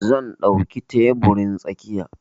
Zan ɗauke teburin tsakiya.